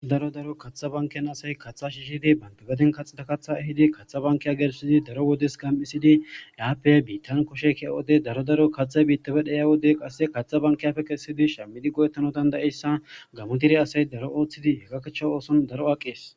Daro daro kaththa bankkiya asay kaththa shiishidi banththa gaden kaxidda kaththa ehidi kathth bankkiya gelssidi doro wodiyasi gam7issidi yaappe biitan koshay ke7iyo wode daro daro kaththay biitappe xayiyo wode kaththa bankiyappe kessidi shammidi go7etanaw danda7iyayssa gamo dere asay daro ooththidi gakichcha ooson daro aqees.